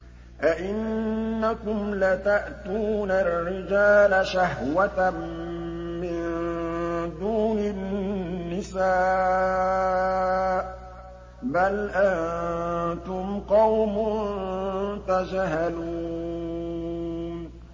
أَئِنَّكُمْ لَتَأْتُونَ الرِّجَالَ شَهْوَةً مِّن دُونِ النِّسَاءِ ۚ بَلْ أَنتُمْ قَوْمٌ تَجْهَلُونَ